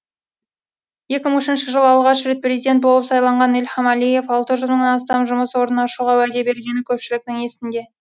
екі мың үшінші жылы алғаш рет президент болып сайланған ильхам әлиев алты жүз мыңнан астам жұмыс орнын ашуға уәде бергені көпшіліктің есінде